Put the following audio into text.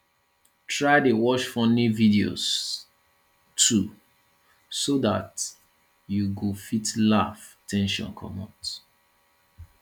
try dey watch funny videos too so dat you go fit laugh ten sion comot